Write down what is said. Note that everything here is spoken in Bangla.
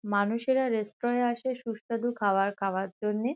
মানুষেরা বেস্তোরায় আসে সুস্বাদু খাবার খাওয়ার জন্যে।